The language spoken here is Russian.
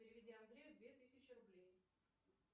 переведи андрею две тысячи рублей